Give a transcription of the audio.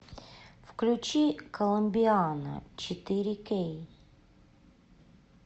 включи коломбиана четыре кей